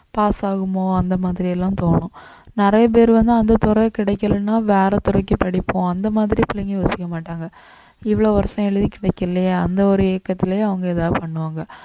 pass ஆகுமோ அந்த மாதிரி எல்லாம் தோணும் நிறைய பேர் வந்து அந்த துறை கிடைக்கலேன்னா வேற துறைக்கு படிப்போம் அந்த மாதிரி பிள்ளைங்க யோசிக்க மாட்டாங்க இவ்வளவு வருஷம் எழுதி கிடைக்கலையே அந்த ஒரு ஏக்கத்திலேயே அவங்க ஏதாவது பண்ணுவாங்க